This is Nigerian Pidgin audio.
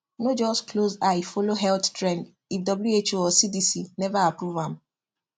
no just close eye follow health trend if who or cdc never approve am